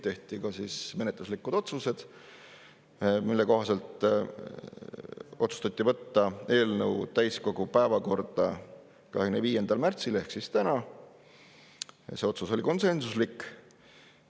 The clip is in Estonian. Tehti ka menetluslikud otsused, mille kohaselt otsustati võtta eelnõu täiskogu päevakorda 25. märtsiks ehk tänaseks, see otsus oli konsensuslik.